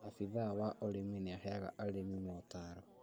Abithaa wa ũrĩmi nĩaheaga arĩmi mootaro